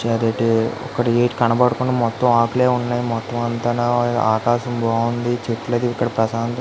ఇక్కడ ఏంటి కనబడకుండా మొత్తం ఆకులే ఉన్నాయ్ మొత్తమంతనా ఆకాశం బాగుంది చెట్లు అయితే ఇక్కడ ప్రశాంతత --